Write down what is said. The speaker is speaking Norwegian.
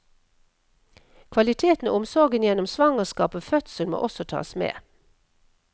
Kvaliteten og omsorgen gjennom svangerskap og fødsel må også tas med.